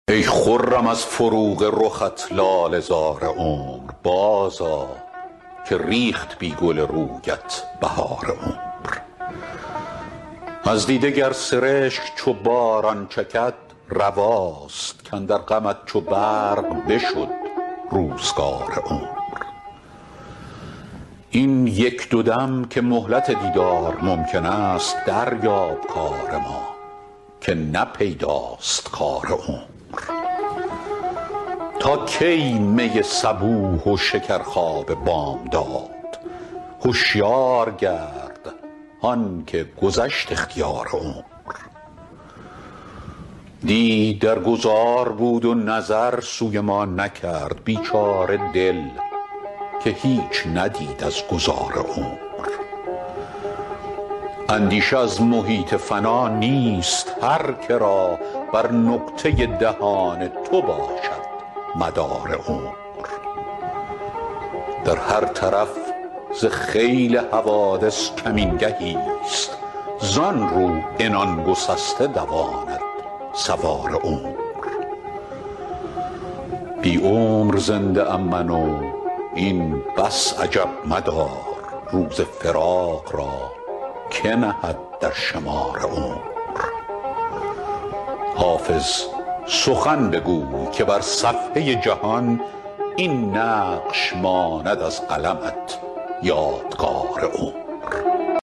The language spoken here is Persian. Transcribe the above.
ای خرم از فروغ رخت لاله زار عمر بازآ که ریخت بی گل رویت بهار عمر از دیده گر سرشک چو باران چکد رواست کاندر غمت چو برق بشد روزگار عمر این یک دو دم که مهلت دیدار ممکن است دریاب کار ما که نه پیداست کار عمر تا کی می صبوح و شکرخواب بامداد هشیار گرد هان که گذشت اختیار عمر دی در گذار بود و نظر سوی ما نکرد بیچاره دل که هیچ ندید از گذار عمر اندیشه از محیط فنا نیست هر که را بر نقطه دهان تو باشد مدار عمر در هر طرف ز خیل حوادث کمین گهیست زان رو عنان گسسته دواند سوار عمر بی عمر زنده ام من و این بس عجب مدار روز فراق را که نهد در شمار عمر حافظ سخن بگوی که بر صفحه جهان این نقش ماند از قلمت یادگار عمر